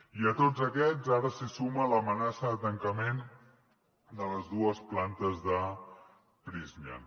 i a tots aquests ara s’hi suma l’amenaça de tancament de les dues plantes de prysmian